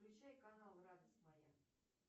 включай канал радость моя